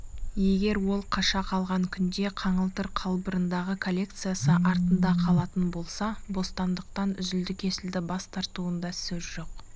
егер ол қаша қалған күнде қаңылтыр қалбырындағы коллекциясы артында қалатын болса бостандықтан үзілді-кесілді бас тартуында сөз жоқ